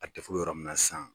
A bɛ yɔrɔ min na san.